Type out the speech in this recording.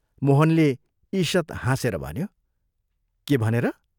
मोहनले ईषत् हाँसेर भन्यो, "के भनेर?